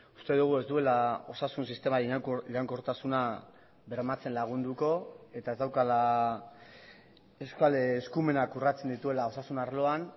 uste dugu ez duela osasun sistema iraunkortasuna bermatzen lagunduko eta ez daukala euskal eskumenak urratzen dituela osasun arloan